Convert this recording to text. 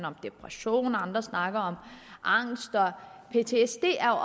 om depression og andre snakker om angst ptsd er